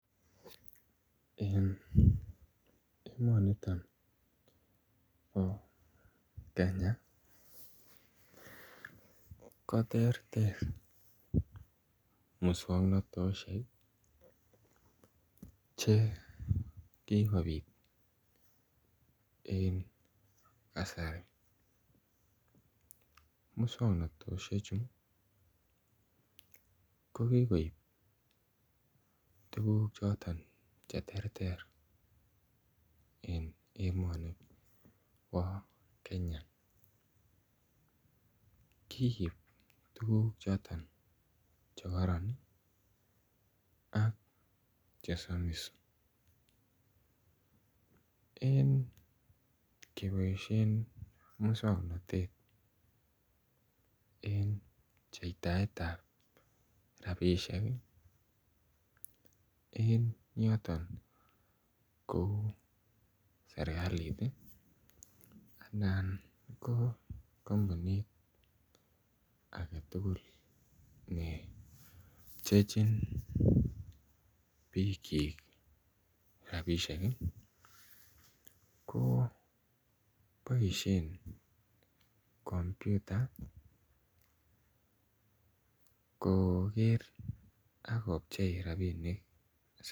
En emonito bo Kenya ko terter muswoknotosiek Che kikobit en kasari muswoknotosiechu ko ki koib tuguk choton Che terter en emoni bo Kenya kiib tuguk choton Che kororon ak chesomis en keboisien moswoknatet en pcheitaetab rabisiek en yoton kou serkalit anan ko kampunit age tugul pchechin bikyik rabisiek ko boisien kompyuta kokerak kopchei rabinik